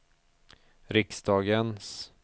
riksdagens